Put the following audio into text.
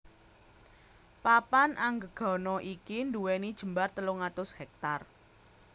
Papan Anggegana iki nduwèni jembar telung atus hèktar